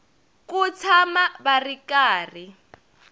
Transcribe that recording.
ku tshama va ri karhi